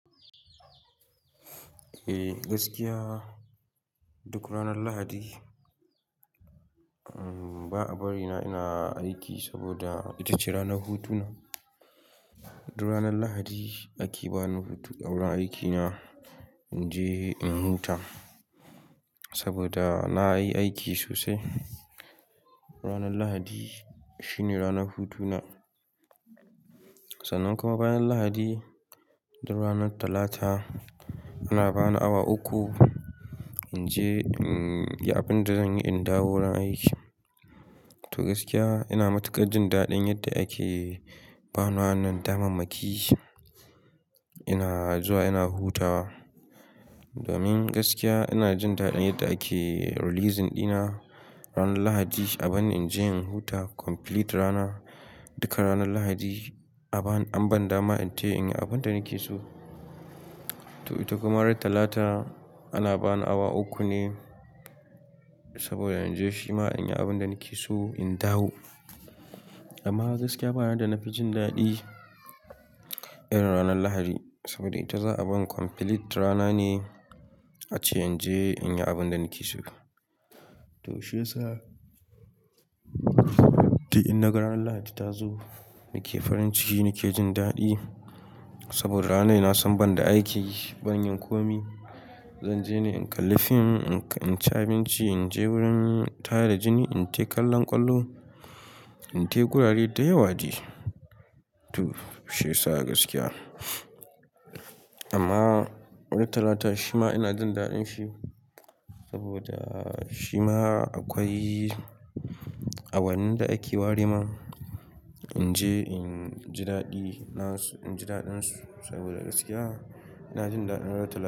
Eh, gaskiya duk ranar Lahadi. Ba a bari na ina aiki saboda ita ce ranar hutuna. Duk ranar Lahadi ake bani hutu a wurin aikina in je in huta saboda na yi aiki sosai. Ranar Lahadi shine ranar hutuna. Sannan kuma bayan Lahadi, duk ranar Talata ana bani awa uku in je, inyi abin da zan yi, in dawo wurin aiki. To gaskiya ina matuƙar jin daɗin yadda ake bani wannan damammaki. Ina zuwa ina hutawa domin gaskiya ina jin daɗin yadda ake releasing dina ranar Lahadi a ban in je in huta complete rana. Duka ranar Lahadi an banda ma inte in yi abin da nake so. To ita kuma ranar Talata ana bani awa uku ne saboda in je shima in yi abin da nake so in dawo. Amma gaskiya baya da na fi jin daɗi irin ranar Lahadi saboda ita za a bani complete rana ne ace in je in yi abin da nake so. To shi yasa, to in nagaran Lahadi ta zo nake farin ciki, nake jin daɗi saboda ranai na son banda aiki ban yi komai. Zan je ne in kalli fim, in ci abinci, in je wurin tare da jini, in te kallon ƙwallo, in tafi wurare da yawa de To shi yasa gaskiya. Amma ranar Talata shima ina jin daɗin shi saboda shima akwai awannin da ake ware man. In je inji daɗi nasu, inji daɗinsu saboda gaskiya ina jin daɗin ranar Talata.